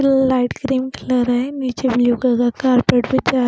light cream colour है नीचे blue colour carpet बिछाया--